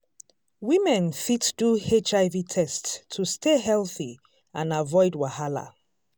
women fit do hiv test to stay healthy and avoid wahala.